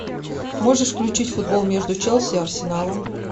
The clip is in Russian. можешь включить футбол между челси и арсеналом